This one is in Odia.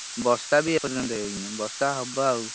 ବର୍ଷା ବି ଏପର୍ଯନ୍ତ ହେଇନି ବର୍ଷା ହବ ଆଉ।